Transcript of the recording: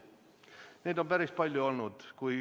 Neid on päris palju olnud.